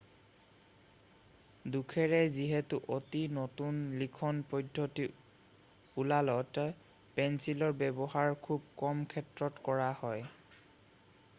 দুখেৰে যিহেতু অতি নতুন লিখন পদ্ধতি ওলালত পেঞ্চিলৰ ব্যৱহাৰ খুব কম ক্ষেত্ৰত কৰা হয়